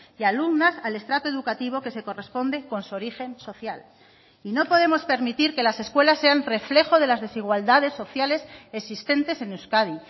y alumnas al estrato educativo que se corresponde con su origen social y no podemos permitir que las escuelas sean reflejo de las desigualdades sociales existentes en euskadi